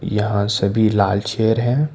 यहां सभी लाल चेयर है।